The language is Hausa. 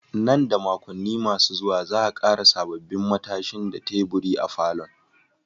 Nan da makonni masu zuwa, za'a ƙara sabbin matashin da teburi a falon.